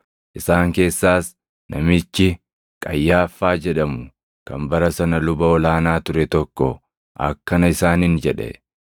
Isaan keessaas namichi Qayyaaffaa jedhamu kan bara sana luba ol aanaa ture tokko akkana isaaniin jedhe; “Isin waan tokko illee hin beektan!